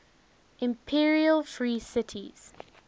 imperial free cities